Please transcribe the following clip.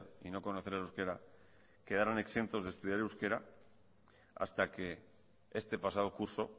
y no conocer el euskera quedaron exentos de estudiar euskera hasta que este pasado curso